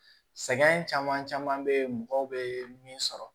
Sɛgɛn caman caman bɛ yen mɔgɔw bɛ min sɔrɔ